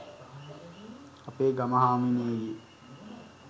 අපේ ගම හාමිනේගේ